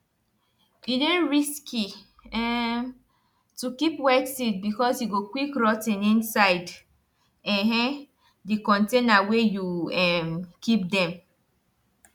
e dey risky um to keep wet seed because e go quick rot ten inside um di container wey you um keep dem